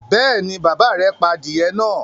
Bẹ́ẹ̀ ni, bàbá rẹ̀ pa adìẹ náà.